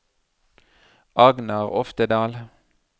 Agnar Oftedal